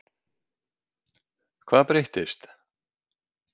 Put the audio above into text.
Hvað breyttist?